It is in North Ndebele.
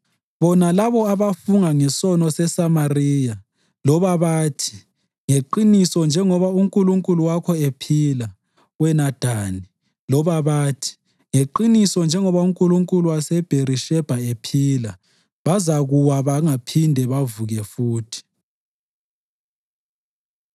Bona labo abafunga ngesono seSamariya, loba bathi, ‘Ngeqiniso njengoba unkulunkulu wakho ephila, wena Dani,’ loba bathi, ‘Ngeqiniso njengoba unkulunkulu waseBherishebha ephila,’ bazakuwa, bangaphindi bavuke futhi.”